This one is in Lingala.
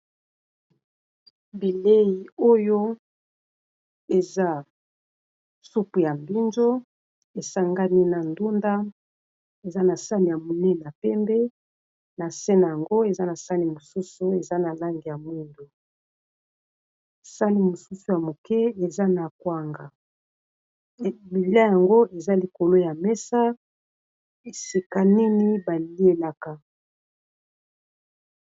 Bilei oyo eza supu ya mbinjo, esangani na ndunda eza na sani ya monene ya pembe na nse nango eza na sani mosusu eza na langi ya mwindu. Sani mosusu ya moke eza na kwanga, bilei yango eza likolo ya mesa esika nini ba lielaka.